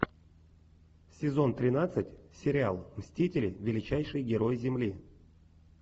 сезон тринадцать сериал мстители величайшие герои земли